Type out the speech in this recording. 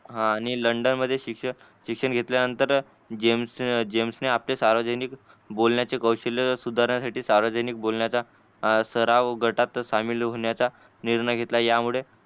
आणि लंडन लंडनमध्ये शिक्षण शिक्षण घेतल्यानंतर जेम्स जेम्सने आपले सार्वजनिक बोलण्याचे कौशल्य सुधारण्यासाठी सार्वजनिक बोलण्याचा सराव गटात सामील होण्याचा निर्णय घेतला यामुळे